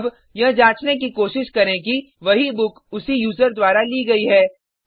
अब यह जांचने की कोशिश करें कि वही बुक उसी यूज़र द्वारा ली गयी है